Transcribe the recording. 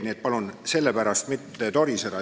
Nii et palun selle pärast mitte toriseda.